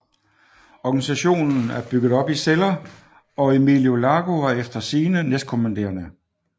Organisationen er bygget op i celler og Emilio Largo var efter sigende næstkommanderende